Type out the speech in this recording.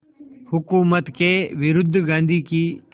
हुकूमत के विरुद्ध गांधी की